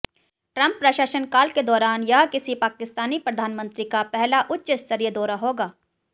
Trump प्रशासन काल के दौरान यह किसी पाकिस्तानी प्रधानमंत्री का पहला उच्चस्तरीय दौरा होगा